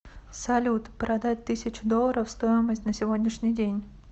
салют продать тысячу долларов стоимость на сегодняшний день